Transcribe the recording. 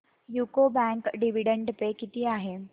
UCO bank dividend pay किती आहे